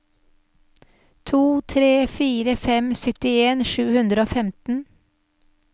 to tre fire fem syttien sju hundre og femten